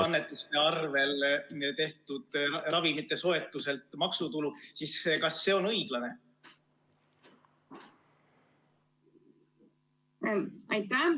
... annetuste rahaga soetatud ravimite ostmisel, siis kas see on õiglane.